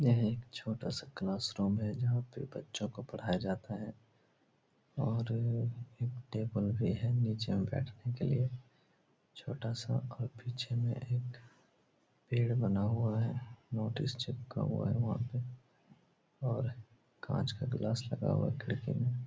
यह एक छोटा-सा क्लासरूम है जहाँ पे बच्चों को पढ़ाया जाता हैं और एक टेबल भी है नीचे बैठने के लिए। छोटा-सा पीछे में एक पेड़ बना हुआ है नोटिस चिपका हुआ है वहाँ पे और काँच का ग्लास लगा हुआ है खिड़की में।